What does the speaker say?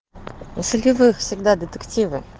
у солевых всегда детективы